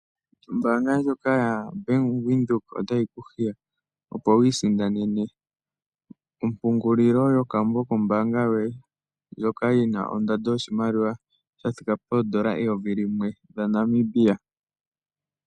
Ombaanga ndjono yo Bank Windhoek otayi ku hiya opo wi isindanene ompungulilo yokambo kombaanga yoye, ndjoka yi na ondando yoshimaliwa sha thika poondola 1000 dhaNamibia.